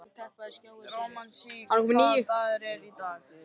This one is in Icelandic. Rósmary, hvaða dagur er í dag?